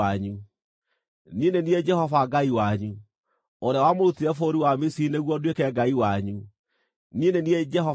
Niĩ nĩ niĩ Jehova Ngai wanyu, ũrĩa wamũrutire bũrũri wa Misiri nĩguo nduĩke Ngai wanyu. Niĩ nĩ niĩ Jehova Ngai wanyu.’ ”